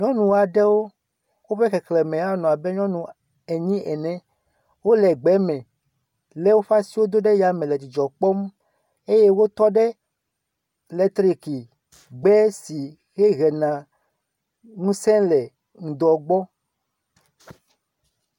Nyɔ aɖewo woƒe xexleme anɔ abe enyi ene. Wole gbe me le woƒe asiwo do ɖe ya me nɔ dzidzɔ kpɔm eye wotɔ ɖe letriki gbe si he hena ŋusẽ le ŋdɔ gbɔ.